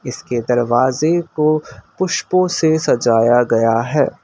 इसके दरवाजे को पुष्पों से सजाया गया है।